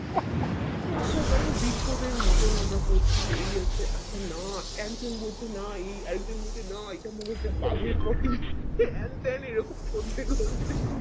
আচ্ছা আচ্ছা মানে বিজ্ঞদের মতো আমরা করছি এই আছে আচ্ছা না একজন বলছে না এই একজন বলছে না এটার মধ্যে তো বাঘের potty হ্যান ত্যান এই রকম